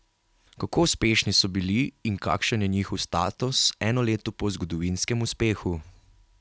Kako uspešni so bili in kakšen je njihov status eno leto po zgodovinskem uspehu?